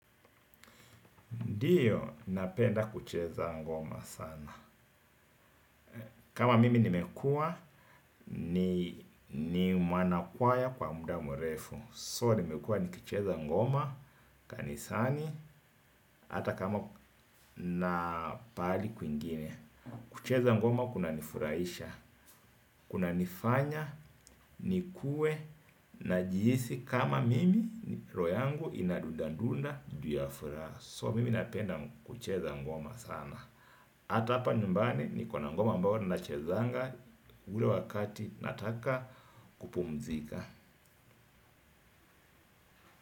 Ndiyo, napenda kucheza ngoma sana. Kama mimi nimekuwa, ni mwana kwaya kwa muda mrefu. So, nimekuwa nikicheza ngoma, kanisani, ata kama na pahali kwingine. Kucheza ngoma kuna nifurahisha, kunanifanya, nikuwe, najihisi kama mimi, roho yangu inadundandunda, juu ya furaha. So, mimi napenda kucheza ngoma sana. Hata hapa nyumbani niko na ngoma ambayo nachezanga ule wakati nataka kupumzika.